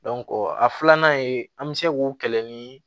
a filanan ye an mi se k'o kɛlɛ ni